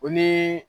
O ni